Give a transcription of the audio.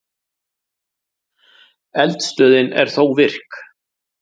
Eldstöðin er þó virk.